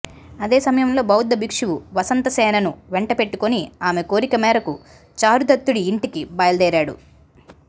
అదే సమయంలో బౌద్ధ భిక్షువు వసంతసేనను వెంటపెట్టుకుని ఆమె కోరికమేరకు చారుదత్తుడి యింటికి బయలుదేరాడు